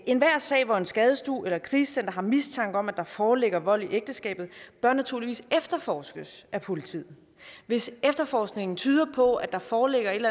enhver sag hvor en skadestue eller et krisecenter har mistanke om at der foreligger vold i ægteskabet bør naturligvis efterforskes af politiet hvis efterforskningen tyder på at der foreligger et